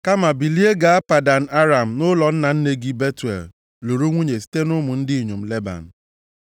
Kama bilie gaa Padan Aram nʼụlọ nna nne gị, Betuel, lụrụ nwunye site nʼụmụ ndị inyom Leban.